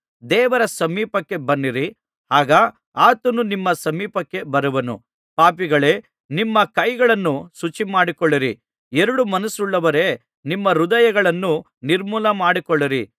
ದೇವರ ಸಮೀಪಕ್ಕೆ ಬನ್ನಿರಿ ಆಗ ಆತನು ನಿಮ್ಮ ಸಮೀಪಕ್ಕೆ ಬರುವನು ಪಾಪಿಗಳೇ ನಿಮ್ಮ ಕೈಗಳನ್ನು ಶುಚಿಮಾಡಿಕೊಳ್ಳಿರಿ ಎರಡು ಮನಸ್ಸುಳ್ಳವರೇ ನಿಮ್ಮ ಹೃದಯಗಳನ್ನು ನಿರ್ಮಲಮಾಡಿಕೊಳ್ಳಿರಿ